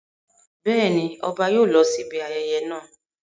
Bẹ́ẹ̀ ni, ọba yóò lọ síbi ayẹyẹ náà.